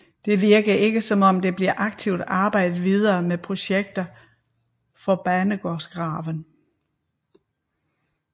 Det virker ikke som om der bliver aktivt arbejdet videre med projekter for banegårdsgraven